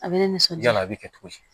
A bɛ ne nisɔndiya a bɛ kɛ cogo di